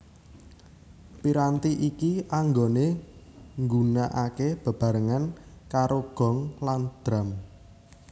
Piranti iki anggone nggunakake bebarengan karo gong lan drum